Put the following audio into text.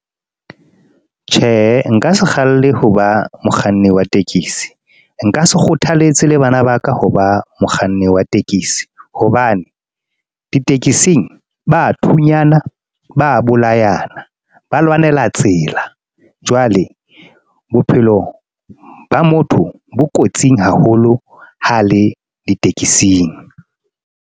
Tjhe, nka se kgalle ho ba mokganni wa tekesi, nka se kgothaletse le bana ba ka ho ba mokganni wa tekesi. Hobane ditekesing bathunyana, ba bolayana, ba lwanela tsela, jwale bophelo ba motho bo kotsing haholo ha le ditekesing.